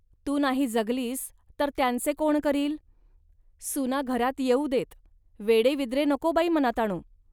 तू नाही जगलीस तर त्यांचे कोण करील. सुना घरात येऊ देत, वेडेविद्रे नको बाई मनात आणू